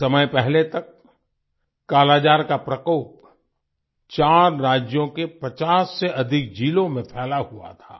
कुछ समय पहले तक कालाजार का प्रकोप 4 राज्यों के 50 से अधिक जिलों में फैला हुआ था